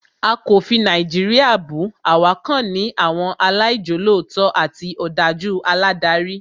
A kò fi Nàìjíríà bù, àwa kàn ní àwọn aláìjolótó àti òdájú aládarí